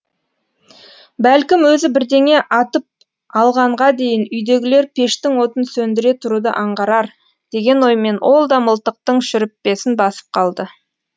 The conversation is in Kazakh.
бәлкім өзі бірдеңе атып алғанға дейін үйдегілер пештің отын сөндіре тұруды аңғарар деген оймен ол да мылтықтың шүріппесін басып қалды